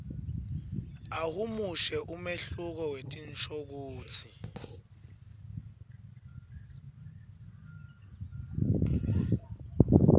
ahumushe umehluko wetinshokutsi